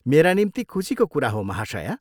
मेरा निम्ति खुसीको कुरा हो, महाशया।